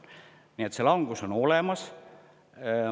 Nii et langus on olemas.